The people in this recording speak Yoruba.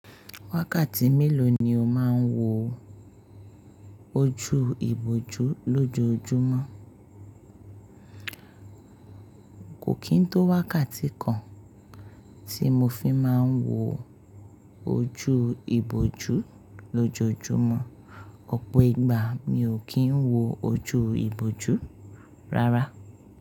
Wákàtí mélòó ni o máa ń wo ojú ìbòjú lójoojúmọ́? Kò kín tó wákàtí kan tí mo fi máa ń wo ojú ìbòjú lójoojúmọ́. Ọ̀pọ̀ ìgbà mi ò kí ń wo ojú ìbòjú rárá.